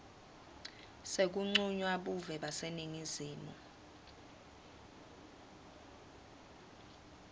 sekuncunywa buve baseningizimu